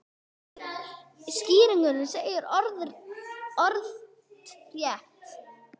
Í skýrslunni segir orðrétt:?